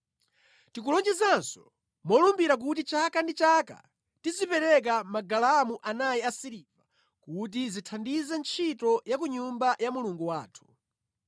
“Tikulonjezanso molumbira kuti chaka ndi chaka tizipereka magalamu anayi a siliva kuti zithandize ntchito ya ku Nyumba ya Mulungu wathu.